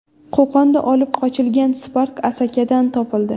Qo‘qonda olib qochilgan Spark Asakadan topildi.